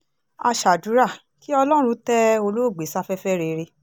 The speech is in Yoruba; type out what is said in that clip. a ṣàdúrà kí ọlọ́run tẹ́ olóògbé sáfẹ́fẹ́ rere